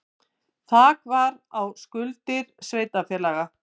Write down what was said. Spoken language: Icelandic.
Þak sett á skuldir sveitarfélaga